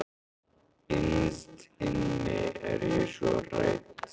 Innst inni er ég svo hrædd.